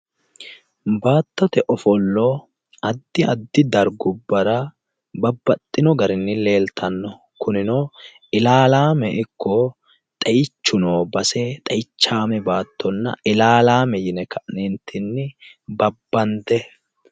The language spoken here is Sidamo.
Baattote ofollo addi addi dargubbara babbaxxino garinni leeltanno kunino ilaalaame ikko xeichu noo base xeichsame baattonna ilaalaame yine ka'neentinni babbande